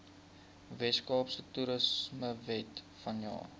weskaapse toerismewet vanjaar